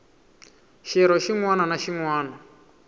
xirho xin wana na xin